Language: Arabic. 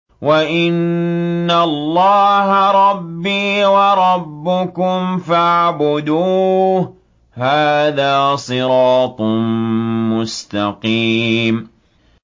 وَإِنَّ اللَّهَ رَبِّي وَرَبُّكُمْ فَاعْبُدُوهُ ۚ هَٰذَا صِرَاطٌ مُّسْتَقِيمٌ